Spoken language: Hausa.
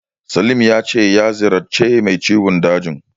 Salim ya ce ya ziyarci mai ciwon dajin.